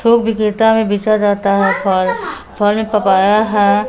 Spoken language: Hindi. थोक विक्रेता में बेचा जाता है फल फल में पपाया है।